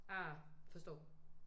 Ah forstår